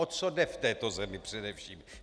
O co jde v této zemi především?